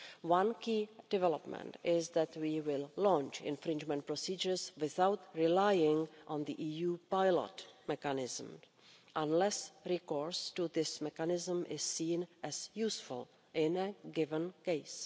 One key development is that we will launch infringement procedures without relying on the EU pilot mechanism unless recourse to this mechanism is seen as useful in a given case.